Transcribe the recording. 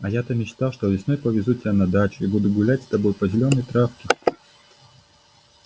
а я-то мечтал что весной повезу тебя на дачу и буду гулять с тобой по зелёной травке